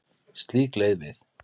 Slík leið við